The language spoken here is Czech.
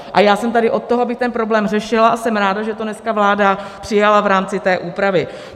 A já jsem tady od toho, abych ten problém řešila, a jsem ráda, že to dneska vláda přijala v rámci té úpravy.